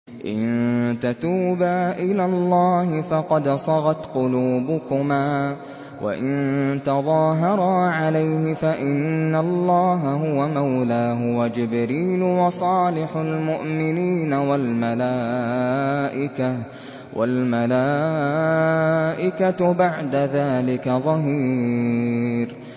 إِن تَتُوبَا إِلَى اللَّهِ فَقَدْ صَغَتْ قُلُوبُكُمَا ۖ وَإِن تَظَاهَرَا عَلَيْهِ فَإِنَّ اللَّهَ هُوَ مَوْلَاهُ وَجِبْرِيلُ وَصَالِحُ الْمُؤْمِنِينَ ۖ وَالْمَلَائِكَةُ بَعْدَ ذَٰلِكَ ظَهِيرٌ